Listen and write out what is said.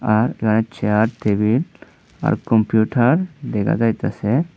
আর light chair table আর computer দেখা যাইতাসে।